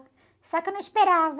Só que eu não esperava.